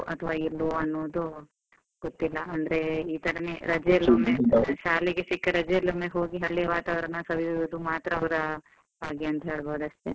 ಅಥವಾ ಇಲ್ವೋ, ಅನ್ನೋದು ಗೊತ್ತಿಲ್ಲ ಅಂದ್ರೆ ಇತರನೇ ಸಿಕ್ಕ ರಜೆ ಶಾಲೆಗೆ ಸಿಕ್ಕ ರಜೆಯಲ್ಲೊಮ್ಮೆ ಹೋಗಿ ಹಳ್ಳಿಯ ವಾತಾವರಣ ಸವಿಯುವುದು ಮಾತ್ರ ಅವ್ರ ಭಾಗ್ಯ ಅಂತ ಹೇಳ್ಬೋದು ಅಷ್ಟೇ.